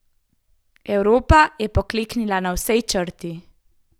Evropa je pokleknila na vsej črti.